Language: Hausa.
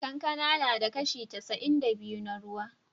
Kankana na da kashi casa'in da biyu na ruwa.